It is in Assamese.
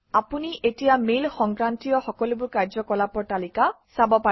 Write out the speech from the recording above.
আপুনি এতিয়া মেইল সংক্ৰান্তীয় সকলোবোৰ কাৰ্যকলাপৰ তালিকা চাব পাৰে